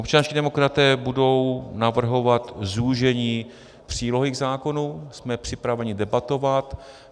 Občanští demokraté budou navrhovat zúžení přílohy k zákonu, jsme připraveni debatovat.